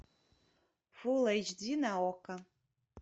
фул эйч ди на окко